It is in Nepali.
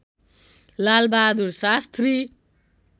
लालबहादुर शास्त्री